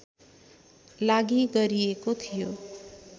लागि गरिएको थियो